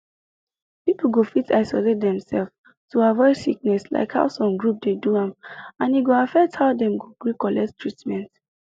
people go fit isolate demself to avoid sickness like how some groups dey do am and e go affect how dem go gree collect treatment